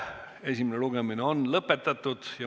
Esimene lugemine on lõpetatud.